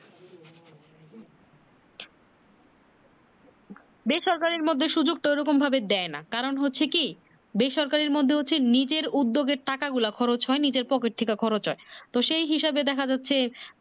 বেসরকারী মধ্যে সুযোগটা ওইরকম ভাবে দেয় না কারণ হচ্ছে কি বেসরকারের মধ্যে হচ্ছে নিজের উদ্যোগে টাকা গোলা খরচ হয়নি নিজের পকেট থেকে খরচ হয় তো সেই হিসাবে দেখা যাচ্ছে।